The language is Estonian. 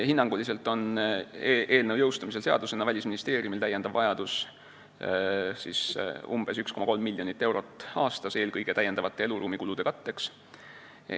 Hinnanguliselt on eelnõu seadusena jõustumisel Välisministeeriumil lisarahavajadus umbes 1,3 miljonit eurot aastas, eelkõige eluruumikulude katteks.